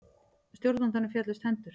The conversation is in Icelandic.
Stjórnandanum féllust hendur.